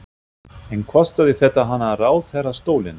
En kostaði þetta hana ráðherrastólinn?